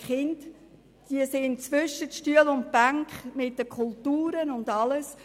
Die Kinder sind zwischen Stuhl und Bank mit den Kulturen und anderem.